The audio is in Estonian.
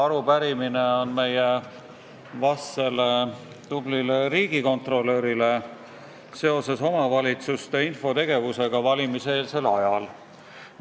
Arupärimine on meie vastsele tublile riigikontrolörile seoses omavalitsuste infotegevusega valimiseelsel ajal.